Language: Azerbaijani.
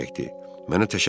Mənə təşəkkür etmə.